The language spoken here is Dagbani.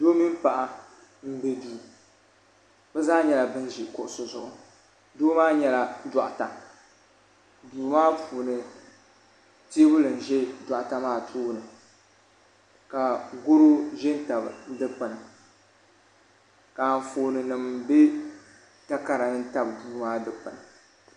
Doo mini paɣa m be duu bɛ zaa nyɛla ban ʒi kuɣusi zuɣu doo maa nyɛla doɣata duu maa puuni teebuya n ʒɛ doɣate maa tooni ka goro ʒɛ n tabili ka anfooni nima be takarani tabi dikpini.